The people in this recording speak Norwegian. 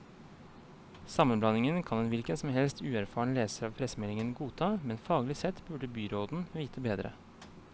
Sammenblandingen kan en hvilken som helst uerfaren leser av pressemeldingen godta, men faglig sett burde byråden vite bedre.